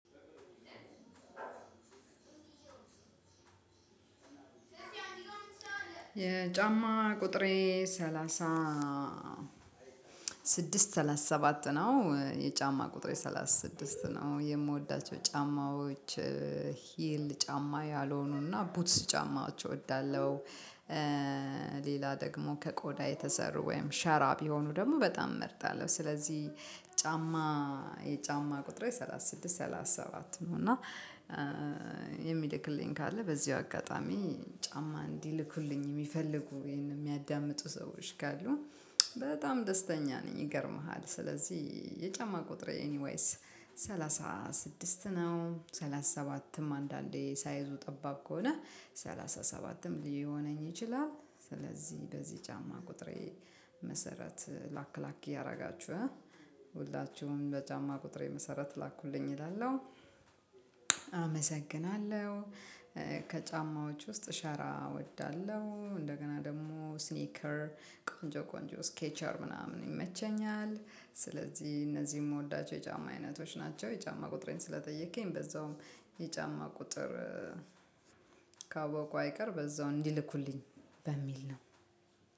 የጫማ ቁጥሬ ሰላሳ ስድስት መቶ ሰላሳ ሰባት ነው የጫማ ቁጥር ሰላሳ ስድስት ነው የምወዳቸው ጫማዎች ሂል ጫማ ያልሆኑና ቡትስ ጫማቸው እወዳለሁ። ሌላ ደግሞ ከቆዳ የተሰሩ ወይም ሸራ ቢሆኑ ደግሞ በጣም እመርጣለሁ። ስለዚህ ጫማ የጫማ ቁጥሬ ሰላሳ ስድስት ሰላሳ ሰባት ነው። እና የሚልክልኝ ካለ በዚሁ አጋጣሚ ጫማ እንዲልኩልኝ የሚፈልጉ ይሄንን የሚያዳምጡ ሰዎች ካሉ በጣም ደስተኛ ነኝ። ይገርምሃል ስለዚህ የጫማ ቁጥሬ ኤኒዋይስ ሰላሳ ስድስት ነው። ሰላሳ ሰባትም አንዳንዴ ሳይዙ ጠባብ ከሆነ ሰላሳ ሰባትም ሊሆነኝ ይችላል። ስለዚህ በዚህ ጫማ ቁጥሬ መሰረት ላክ ላክ እያደረጋችሁ ሁላችሁም በጫማ ቁጥር የመሰረት ላኩልኝ እላለሁ። አመሰግናለሁ። ከጫማዎች ውስጥ ሸራ እወዳለሁ እንደገና ደግሞ ስኒከር ቆንጆ ቆንጆ ስኬቸር ምናምን ይመቸኛል ስለዚህ እነዚህን የምወዳቸው የጫማ አይነቶች ናቸው። የጫማ ቁጥሬን ስለጠየከኝ በዛውም የጫማ ቁጥር ካወቁ አይቀር በዛው እንዲልኩልኝ በሚል ነው።